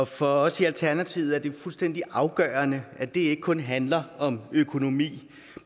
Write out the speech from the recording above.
for os i alternativet er det fuldstændig afgørende at det ikke kun handler om økonomi